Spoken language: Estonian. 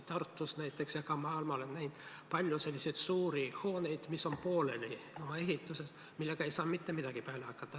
Tartus näiteks ja ka maal ma olen näinud palju suuri hooneid, mis on ehituse mõttes pooleli, millega ei saa mitte midagi peale hakata.